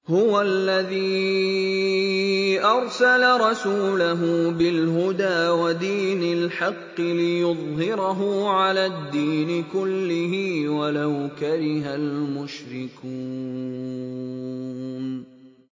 هُوَ الَّذِي أَرْسَلَ رَسُولَهُ بِالْهُدَىٰ وَدِينِ الْحَقِّ لِيُظْهِرَهُ عَلَى الدِّينِ كُلِّهِ وَلَوْ كَرِهَ الْمُشْرِكُونَ